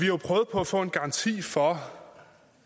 jo prøvet på at få en garanti for